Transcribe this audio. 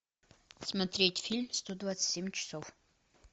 смотреть фильм сто двадцать семь часов